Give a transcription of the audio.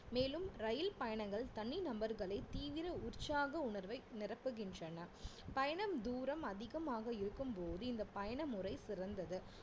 மேலும் ரயில் பயணங்கள் தனி நபர்களை தீவிர உற்சாக உணர்வை நிரப்புகின்றன பயணம் தூரம் அதிகமாக இருக்கும்போது இந்த பயணமுறை சிறந்தது